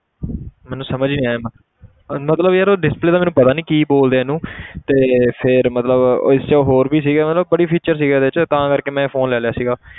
ਮੈਨੂੰ ਸਮਝ ਨੀ ਆਇਆ ਇੰਨਾ ਮਤਲਬ ਯਾਰ ਉਹ display ਤਾਂ ਮੈਨੂੰ ਪਤਾ ਨੀ ਕੀ ਬੋਲਦੇ ਆ ਇਹਨੂੰ ਤੇ ਫਿਰ ਮਤਲਬ ਉਹ ਇਸ 'ਚ ਹੋਰ ਵੀ ਸੀਗੇ ਮਤਲਬ ਬੜੇ feature ਸੀਗੇ ਇਹਦੇ 'ਚ ਤਾਂ ਕਰਕੇ ਮੈਂ ਇਹ phone ਲੈ ਲਿਆ ਸੀਗਾ।